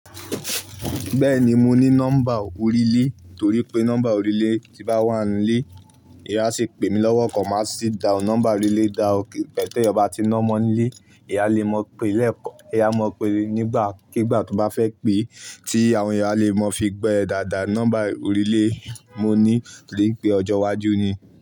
Bẹ́ẹ̀ni, mo ní nọ́mbà orílẹ̀ torí pé nọ́mbà orílẹ̀ tí bá n wà nílé, ìyá ṣe pè mí lọ́wọ́ kan, màá sì da nọ́mbà orílẹ̀ dá ọ kí pẹ̀tẹ́ beyo bá ti nọ́mọ nílé, ìyá le mọ̀ pé nígbàkígbà tó bá fẹ́ pé tí àwọn ìyá le mọ fi bẹ́ẹ̀ dáadáa nọ́mbà orílẹ̀ mo ní torí pé ọjọ́ iwájú ni.